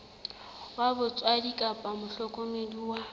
wa batswadi kapa mohlokomedi wa